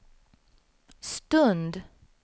stund